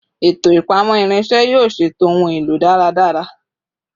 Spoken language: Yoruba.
Eto ipamọ irinṣẹ yoo ṣeto ohun elo daradara